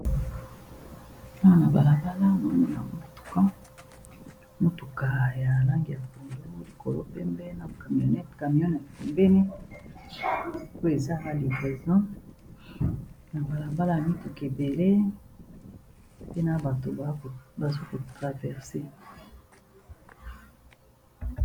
Awa nabalabala nazomona motuka, motuka ya langi ya pondu, likolo pembe, na camionete pembeni po ezosala livreson, na balabala ba mituka ebele, mpe na bato bazoko traverse.